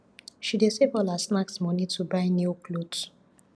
she dey save all her snacks moni to buy new cloth